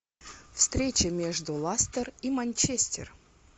встреча между ластер и манчестер